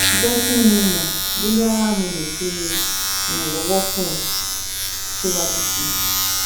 Jẹ ki n mọ boya mo le ṣe iranlọwọ fun ọ siwaju sii